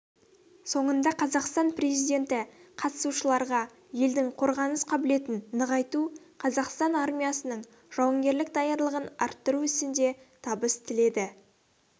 соңында қазақстан президенті қатысушыларға елдің қорғаныс қабілетін нығайту қазақстан армиясының жауынгерлік даярлығын арттыру ісінде табыс тіледі